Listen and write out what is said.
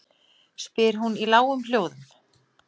spyr hún í lágum hljóðum.